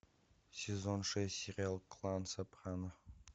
сезон шесть сериал клан сопрано